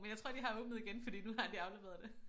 Men jeg tror de har åbnet igen fordi nu har de afleveret det